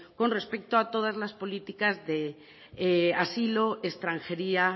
con respecto a todas las políticas de asilo extranjería